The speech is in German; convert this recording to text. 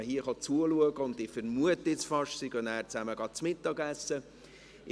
Sie kommen hier zuschauen, und ich vermute fast, dass sie anschliessend zusammen zu Mittag essen gehen werden.